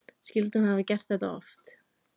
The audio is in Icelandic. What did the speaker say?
Skyldi hún hafa gert þetta oft?